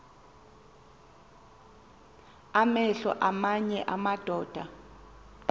amehlo aamanye amadoda